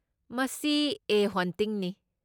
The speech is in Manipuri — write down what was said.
ꯃꯁꯤ 'ꯑꯦ ꯍꯣꯟꯇꯤꯡꯅꯤ'꯫